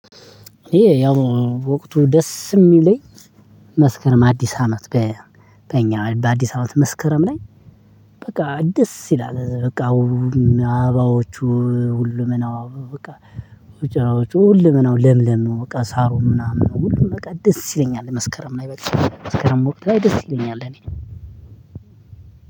ይሄ ያው ወቅቱ ደስ ሚለኝ መስከረም አዲስ አመት በኛ በአዲስ አመት መስከረም ላይ በቃ ደስ ይላል በቃ። አበባዎቹ ሁሉም ናው በቃ። ውጭ ራውጭ ሁሉም ነው ለምለም ነው በቃ ሳሩ ምናምን ነው። ሁሉም በቃ ደስ ይለኛል መስከረም ላይ በል መስከረም ወቅት ላይ ደስ ይለኛል። እኔ